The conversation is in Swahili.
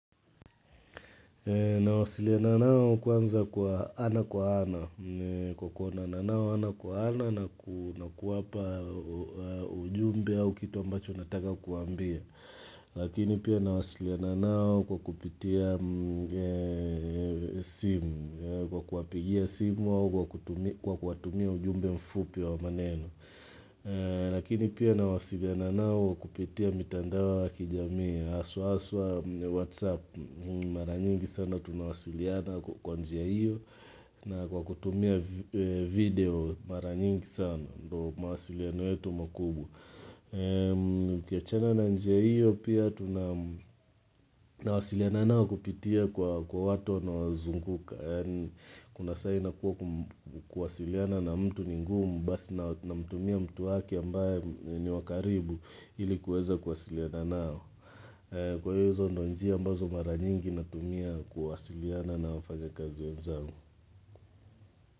Na wasiliana nao kwanza kwa ana kwa ana. Kwa kuonana nao ana kwa ana na kuwapa ujumbe au kitu ambacho nataka kuambia. Lakini pia na wasiliana nao kwa kupitia simu. Kwa kuwapigia simu au kwa kuwatumia ujumbe mfupi wa maneno. Lakini pia nawasiliana nao kupitia mitandao ya kijami haswa aswa, whatsapp, maranyingi sana tunawasiliana kwa njia iyo na kwa kutumia video maranyingi sana ndo maasiliana yetu makubwa ukiachana na njia iyo pia tunawasiliana nao kupitia kwa watu wanaozunguka Kuna saa inakuwa kuwasiliana na mtu ningumu Basi namtumia mtu waki ambaye ni wakaribu ili kuweza kuwasiliana nao Kwa hiyo izo ndo njia ambazo mara nyingi Natumia kuwasiliana na wafanya kazi wenzangu.